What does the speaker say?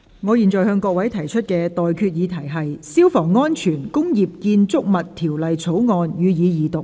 我現在向各位提出的待決議題是：《消防安全條例草案》，予以二讀。